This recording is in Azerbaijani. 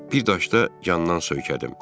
Bir daşda yandan söykədim.